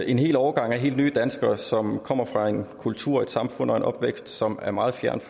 en hel årgang af helt nye danskere som kommer fra en kultur og et samfund og en opvækst som er meget fjernt